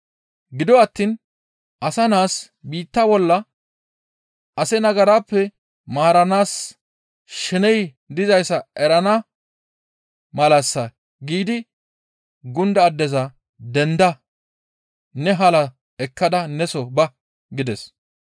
Gido attiin Asa Naas biitta bolla ase nagarappe maaranaas sheney dizayssa erana malassa» giidi gunda addeza «Denda! Ne halaa ekkada neso ba» gides.